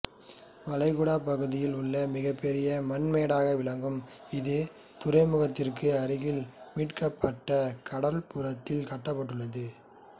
வளைகுடாப் பகுதியில் உள்ள மிகப்பெரும் மண்மேடாக விளங்கும் இது துறைமுகத்திற்கு அருகில் மீட்கப்பட்டக் கடற்புறத்தில் கட்டப்பட்டுள்ளது